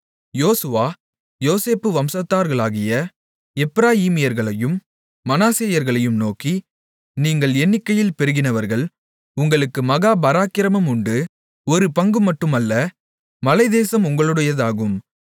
யோசுவா யோசேப்பு வம்சத்தார்களாகிய எப்பிராயீமியர்களையும் மனாசேயர்களையும் நோக்கி நீங்கள் எண்ணிக்கையில் பெருகினவர்கள் உங்களுக்கு மகா பராக்கிரமமும் உண்டு ஒரு பங்குமட்டும் அல்ல மலைத்தேசமும் உங்களுடையதாகும்